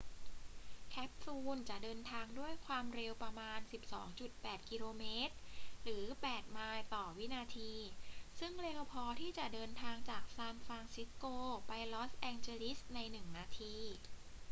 แคปซูลจะเดินทางด้วยควาวมเร็วประมาณ 12.8 กม. หรือ 8 ไมล์ ต่อวินาที ซึ่งเร็วพอที่จะเดินทางจากซานฟรานซิสโกไปลอสแอนเจลิสในหนึ่งนาที